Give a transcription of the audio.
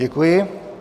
Děkuji.